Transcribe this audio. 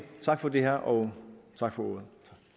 tak for det her og tak for ordet